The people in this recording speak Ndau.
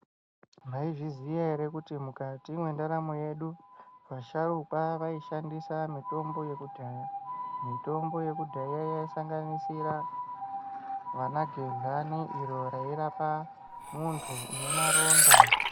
Maizviziya ere kuti mukati mwendaramo yedu vasharukwa vaishandisa mitombo yekudhaya mitombo yekudhaya yaisangandisira vanagehlani iro rairapa muntu une maronda.